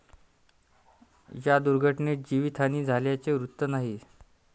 या दुर्घटनेत जीवितहानी झाल्याचे वृत्त नाही.